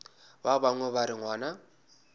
ba bangwe ba re ngwana